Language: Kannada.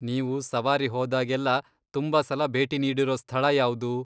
ನೀವು ಸವಾರಿ ಹೋದಾಗೆಲ್ಲ ತುಂಬಾ ಸಲ ಭೇಟಿ ನೀಡಿರೋ ಸ್ಥಳ ಯಾವ್ದು?